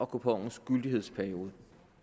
kuponens gyldighedsperiode